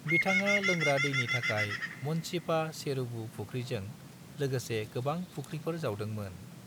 बिथाङा लोंग्रा दैनि थाखाय मन्चिप्पा चेरुवु फुख्रिजों लोगोसे गोबां फुख्रिफोर जावदोंमोन।